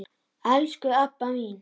Elsku Ebba mín.